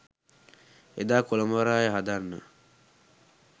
එදා කොළඹ වරාය හදන්න